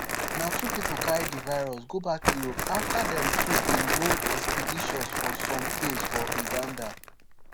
na two pipo carry di virus go back europe afta dem two bin go expeditions for some caves for uganda